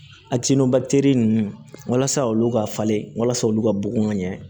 ninnu walasa olu ka falen walasa olu ka bugun ka ɲɛ